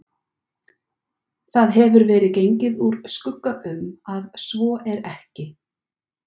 Það hefur verið gengið úr skugga um, að svo er ekki